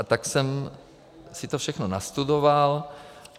A tak jsem si to všechno nastudoval.